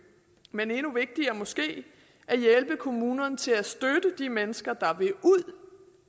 men endnu vigtigere at hjælpe kommunerne til at støtte de mennesker der vil ud